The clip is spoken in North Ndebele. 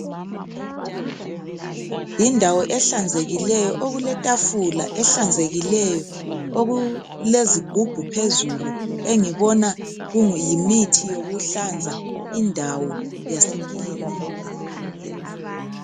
Yindawo ehlanzekileyo okuletafula ehlanzekileyo, okulezigubhu phezulu engibona kuyimithi yokuhlanza indawo yasekilinika.